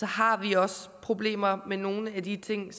har vi også problemer med nogle af de ting